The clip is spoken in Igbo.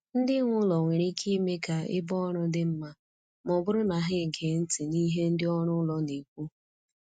Ndị nwe ụlọ nwere ike ime ka ebe ọrụ dị mma ma ọ bụrụ na ha ege ntị n’ihe ndị ọrụ ụlọ na-ekwu.